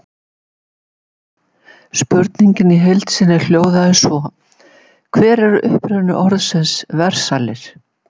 Spurningin í heild sinni hljóðaði svo: Hver er uppruni orðsins Versalir?